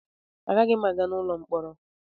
Agaghị m aga n'ụlọ mkpọrọ.